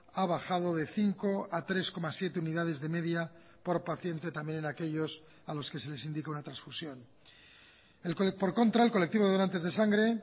ha bajado de cinco a tres coma siete unidades de media por paciente también en aquellos a los que se les indica una transfusión por contra el colectivo donantes de sangre